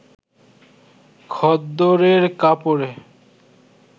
খদ্দরের কাপড়ে